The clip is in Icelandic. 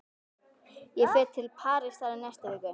Ég fer til Parísar í næstu viku.